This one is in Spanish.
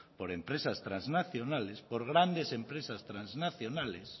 por empresas trasnacionales por grandes empresas trasnacionales